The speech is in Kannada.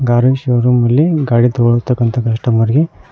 ಕಾರಿನ ಶೋರೂಮ್ನಲ್ಲಿ ಗಾಡಿ ತೆಗೆದು ಇರುವ ಕಸ್ಟಮರ್ ಗೆ.